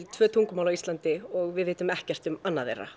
tvö tungumál á Íslandi og við vitum ekkert um annað þeirra